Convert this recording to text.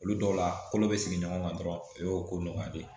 Olu dɔw la kolo bɛ sigi ɲɔgɔn kan dɔrɔn o ye ko nɔgɔya de ye